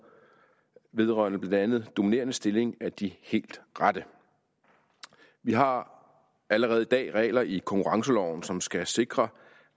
vedrørende blandt andet dominerende stilling er de helt rette vi har allerede i dag regler i konkurrenceloven som skal sikre